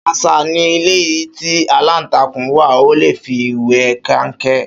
Ṣàṣà ni ilé tí aláǹtakùn wá, a olè fi wé kẹnkẹ